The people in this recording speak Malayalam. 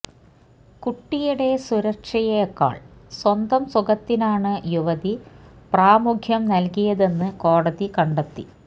കുട്ടിയുടെ സുരക്ഷയേക്കാള് സ്വന്തം സുഖത്തിനാണ് യുവതി പ്രാമുഖ്യം നല്കിയതെന്ന് കോടതി കണ്ടെത്തി